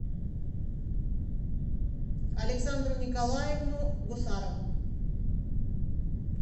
александру николаевну гусарову